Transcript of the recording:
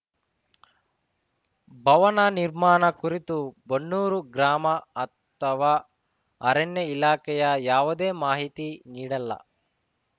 ಭವನ ನಿರ್ಮಾಣ ಕುರಿತು ಬನ್ನೂರು ಗ್ರಾಮ ಅಥವಾ ಅರಣ್ಯ ಇಲಾಖೆಯ ಯಾವುದೇ ಮಾಹಿತಿ ನೀಡಲ್ಲ